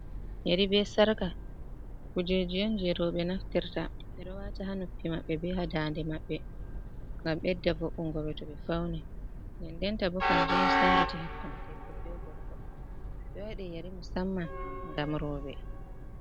Yeri be Sarka kujeji on je roɓe naftirta. Ɓeɗo wata ha noppi maɓɓe be ha daande maɓɓe ngam ɓedda vo’ungoɓe to ɓe fauni. Nden denta bo kanjum on senditi hakkunde debbo be gorko. Ɓe waɗi yeri musamman ngam roɓe.